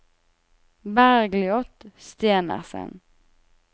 Bergljot Stenersen